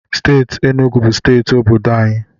Steeti Enugu bụ steeti obodo unyi.